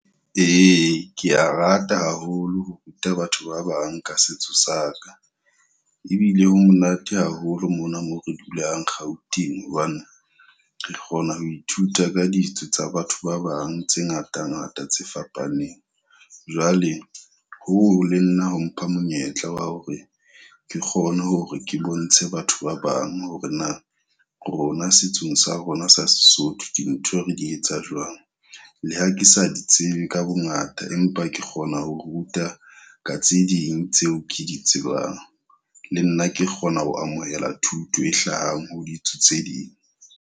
Ee, kea rata haholo ho ruta batho ba bang ka setso saka. Ebile ho monate haholo mona mo re dulang Gauteng hobane re kgona ho ithuta ka ditso tsa batho ba bang tse ngata ngata tse fapaneng. Jwale hoo le nna ho mpha monyetla wa hore ke kgone hore ke bontshe batho ba bang hore na rona setsong sa rona sa Sesotho dintho re di etsa jwang. Le ha ke sa di tsebe ka bo ngata, empa ke kgona ho ruta ka tse ding tseo ke di tsebang. Le nna ke kgona ho amohela thuto e hlahang ho ditso tse ding.